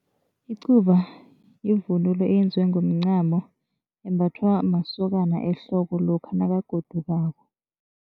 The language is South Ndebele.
Icuba yivunulo eyenziwe ngomncamo embhathwa masokana ehloko lokha nakagodukako.